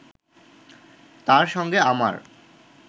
তাঁর সঙ্গে আমার